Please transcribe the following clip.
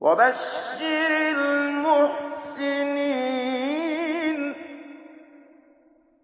وَبَشِّرِ الْمُحْسِنِينَ